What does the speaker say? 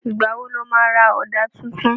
Ìgbà wo lo má ra Ọ̀dà tuntun?